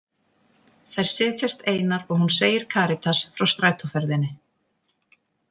Þær setjast einar og hún segir Karítas frá strætóferðinni.